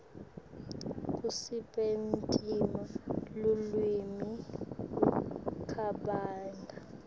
kusebentisa lulwimi kucabanga